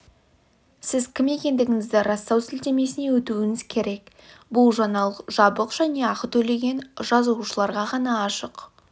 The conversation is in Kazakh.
сіз кім екендігіңізді растау сілтемесіне өтуіңіз керек бұл жаңалық жабық және ақы төлеген жазылушыларға ғана ашық